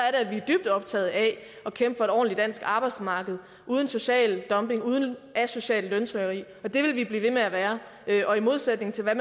at vi er dybt optaget af at kæmpe for et ordentligt dansk arbejdsmarked uden social dumping og uden asocialt løntrykkeri det vil vi blive ved med at være og i modsætning til